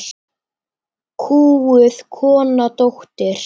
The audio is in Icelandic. Kúguð kona, dóttir.